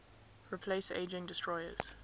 replace aging destroyers